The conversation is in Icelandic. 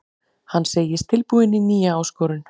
Hann segist tilbúinn í nýja áskorun.